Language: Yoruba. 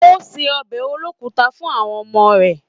O ṣe ọbẹ olokuta fún àwọn ọmọ rẹ.